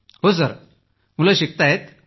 हो सर मुलं शिकताहेत